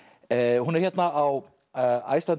hún er hérna á Iceland